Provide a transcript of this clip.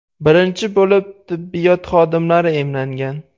Birinchi bo‘lib tibbiyot xodimlari emlangan.